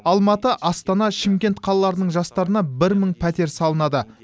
алматы астана шымкент қалаларының жастарына бір мың пәтер салынады